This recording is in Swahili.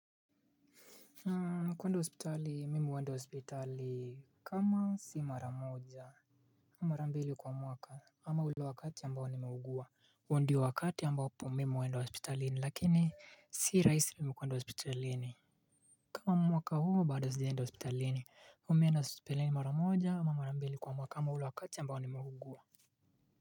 Mi kwenda hospitali mimi huenda hospitali kama si mara moja mara mbili kwa mwaka ama ule wakati ambao nimeugua huu ndio wakati ambapo mimi huenda hospitalini lakini si rahisi mi kwenda hospitalini. Kama mwaka huu bado sijaenda hospitalini mimi huenda hospitalini mara moja ama mara mbili kwa mwaka ama ule wakati ambao nimeugua.